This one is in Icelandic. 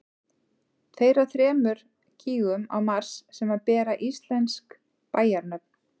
tveir af þremur gígum á mars sem bera íslensk bæjarnöfn